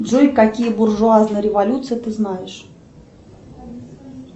джой какие буржуазные революции ты знаешь